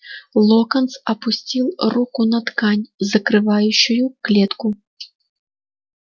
локонс опустил руку на ткань закрывающую клетку